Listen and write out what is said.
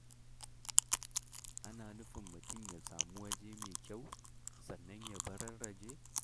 Ana nufin mutum ya samu waje mai kyau, sannan ya bararraje.